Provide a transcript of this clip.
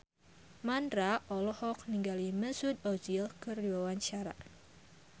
Mandra olohok ningali Mesut Ozil keur diwawancara